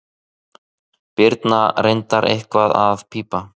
Birna reyndar eitthvað að pípa.